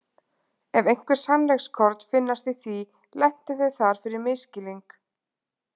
Ef einhver sannleikskorn finnast í því lentu þau þar fyrir misskilning.